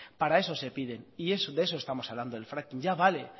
para eso se piden y de eso estamos hablando del fracking ya vale